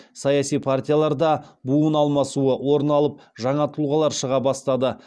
саяси партияларда буын алмасуы орын алып жаңа тұлғалар шыға бастады